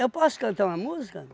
posso cantar uma música?